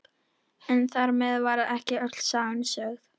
En þar með var ekki öll sagan sögð.